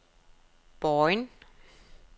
Bojen